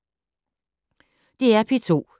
DR P2